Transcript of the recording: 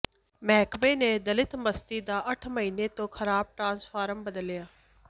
ਮਹਿਕਮੇ ਨੇ ਦਲਿਤ ਬਸਤੀ ਦਾ ਅੱਠ ਮਹੀਨੇ ਤੋਂ ਖ਼ਰਾਬ ਟਰਾਂਸਫਾਰਮਰ ਬਦਲਿਆ